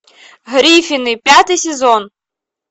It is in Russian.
гриффины пятый сезон